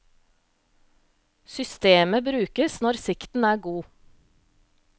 Systemet brukes når sikten er god.